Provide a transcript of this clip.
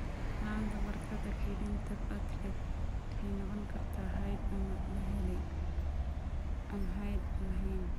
La'aanta barkadda kaydinta platelet waxay noqon kartaa hidde ama la helay (aan hidde lahayn).